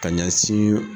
Ka ɲɛsin